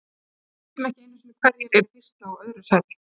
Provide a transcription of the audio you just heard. Við vitum ekki einu sinni hverjir eru í fyrsta og öðru sæti.